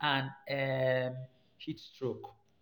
and um heat stroke.